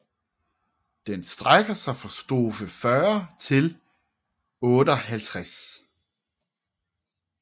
Den strækker sig fra strofe 40 til 58